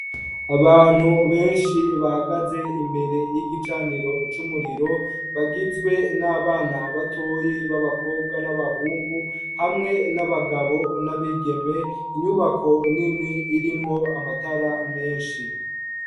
Abantu benshi bahagaze imbere y'igicaniro c'umuriro bagizwe n'abana batoya b'abakobwa n'abahungu hamwe n'abagabo n'abigeme inyubako nini irimwo amatara menshi.